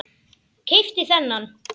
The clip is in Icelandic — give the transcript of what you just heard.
Keypti þennan.